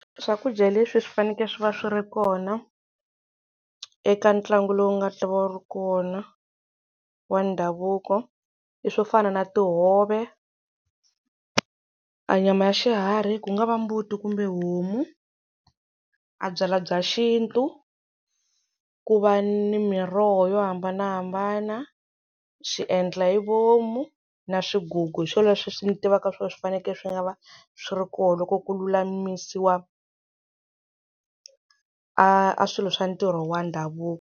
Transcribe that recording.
Swakudya leswi swi fanekele swi va swi ri kona eka ntlangu lowu nga ta va wu ri kona wa ndhavuko i swo fana na tihove a nyama ya xiharhi ku nga va mbuti kumbe homu, a a byalwa bya xintu ku va ni miroho yo hambanahambana swiendla hi vomu na swigugu hi swona leswi swi ni tivaka swona swi fanekele swi nga va swi ri koho loko ku lulamisiwa a a swilo swa ntirho wa ndhavuko.